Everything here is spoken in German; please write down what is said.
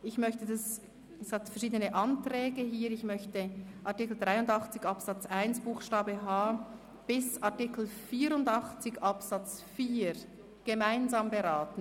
Es hat hier verschiedene Anträge, und ich möchte Artikel 83 Absatz 1 Buchstabe h bis Artikel 84 Absatz 4 gemeinsam beraten.